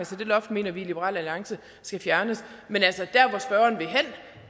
så det loft mener vi i liberal alliance skal fjernes men jeg